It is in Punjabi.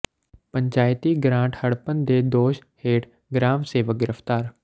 ਪੰਚਾਇਤੀ ਗਰਾਂਟ ਹੜੱਪਣ ਦੇ ਦੋਸ਼ ਹੇਠ ਗਰਾਮ ਸੇਵਕ ਗ੍ਰਿਫ਼ਤਾਰ